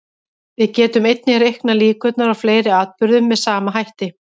Við getum einnig reiknað líkurnar á fleiri atburðum með sama hætti.